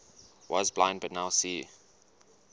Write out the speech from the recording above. was blind but now see